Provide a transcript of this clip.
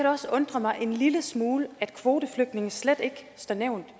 også undre mig en lille smule at kvoteflygtninge slet ikke står nævnt i